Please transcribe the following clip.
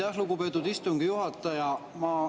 Aitäh, lugupeetud istungi juhataja!